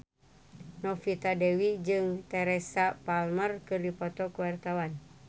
Novita Dewi jeung Teresa Palmer keur dipoto ku wartawan